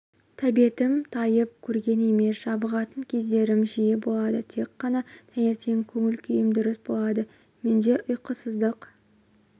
тәбетім тайып көрген емес жабығатын кездерім жиі болады тек қана таңертең көңіл-күйім дұрыс болады менде ұйқысыздық